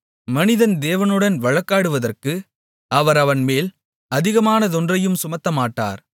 மனிதன் தேவனுடன் வழக்காடுவதற்கு அவர் அவன்மேல் அதிகமானதொன்றையும் சுமத்தமாட்டார்